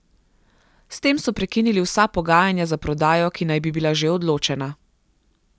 S tem so prekinili vsa pogajanja za prodajo, ki naj bi bila že odločena.